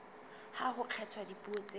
ha ho kgethwa dipuo tseo